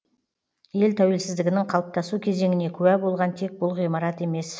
ел тәуелсіздігінің қалыптасу кезеңіне куә болған тек бұл ғимарат емес